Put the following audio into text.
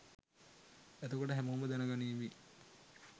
එතකොට හැමෝම දැනගනීවි